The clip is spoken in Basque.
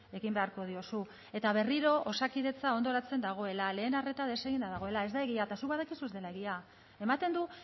egin beharko diozu eta berriro osakidetza hondoratzen dagoela lehen arreta deseginda dagoela ez da egia eta zuk badakizu ez dela egia ematen du